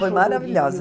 Foi maravilhosa.